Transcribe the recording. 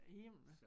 Himmel